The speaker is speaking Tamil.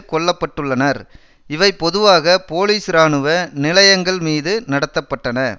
கொல்ல பட்டுள்ளனர் இவை பொதுவாக போலீஸ் இராணுவ நிலையங்கள்மீது நடத்த பட்டன